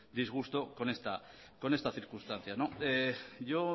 disgusto con esta circunstancia yo